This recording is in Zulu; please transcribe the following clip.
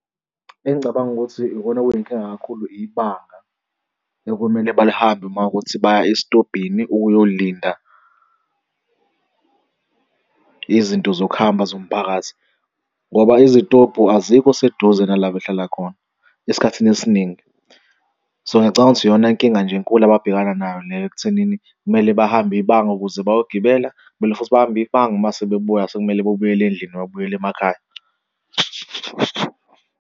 Engicabanga ukuthi ikona kuyinkinga kakhulu, ibanga okumele balihambe uma kuwukuthi baya esitobhini ukuyolinda izinto zokuhamba zomphakathi, ngoba izitobhu azikho seduze nala behlala khona esikhathini esiningi. So, ngiyacabanga ukuthi iyona nkinga nje enkulu ababhekana nayo leyo ekuthenini kumele bahambe ibanga ukuze bayogibela kumele futhi bahambe ibanga mase bebuya sekumele bebuyele endlini noma babuyele emakhaya.